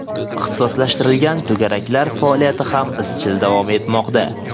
ixtisoslashtirilgan to‘garaklar faoliyati ham izchil davom etmoqda.